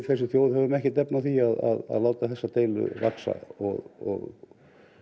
þessi þjóð höfum ekkert efni á því að láta þessa deilu vaxa og